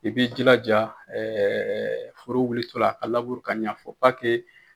I bɛ i jilaja foro wulitola a laburu ka ɲɛ